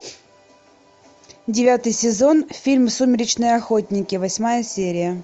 девятый сезон фильм сумеречные охотники восьмая серия